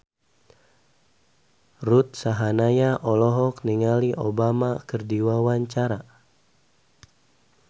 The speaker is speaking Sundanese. Ruth Sahanaya olohok ningali Obama keur diwawancara